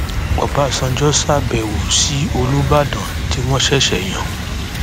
ọbànjọ ṣàbẹwò sí olùbàdàn tí wọn ṣẹṣẹ yàn